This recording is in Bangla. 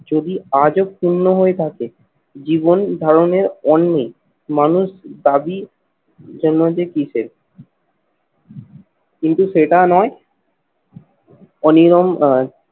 যদি আজও পূর্ণ হয়ে থাকে, জীবন ধারণের অন্নে মানুষ দাবী কিসের? কিন্তু সেটা নয় অনিরম আহ